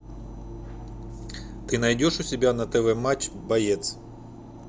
ты найдешь у себя на тв матч боец